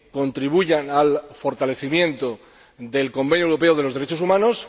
contribuyan al fortalecimiento del Convenio Europeo de Derechos Humanos.